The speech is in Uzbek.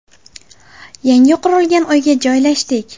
Yangi qurilgan uyga joylashdik.